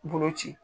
Bolo ci